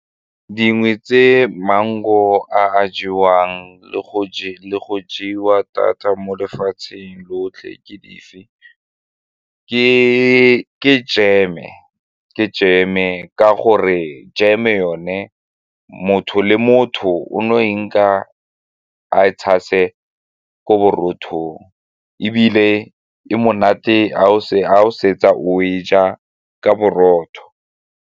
Dingwe tse mango a jewang le go jewa thata mo lefatsheng lotlhe ke dife, ke jeme, ke jeme ka gore jeme yone motho le motho o no e nka a e tshase ko borotho ebile e monate ga o fetsa go e ja ka borotho.